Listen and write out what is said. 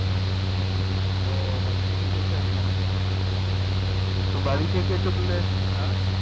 ও বাড়িথেকে চলছে এখোনো তো বাড়ি থেকে চললে হ্যাঁ